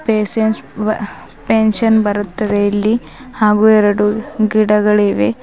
Patient pension ಬರುತ್ತದೆ ಇಲ್ಲಿ ಹಾಗು ಎರಡು ಗಿಡಗಳಿವೆ.